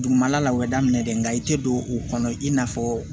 Dugumala la o bɛ daminɛ dɛ nka i tɛ don o kɔnɔ i n'a fɔ